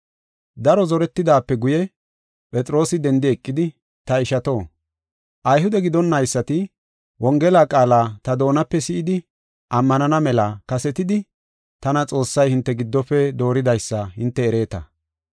Daro zoretidaape guye, Phexroosi dendi eqidi, “Ta ishato, Ayhude gidonnaysati Wongela qaala ta doonape si7idi ammanana mela kasetidi tana Xoossay hinte giddofe dooridaysa hinte ereeta.